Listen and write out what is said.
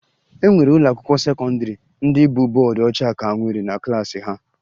E nwere ụlọakwụkwọ sekọndịrị ndị bụ bọọdụ ọcha ka nwere na klaasị ha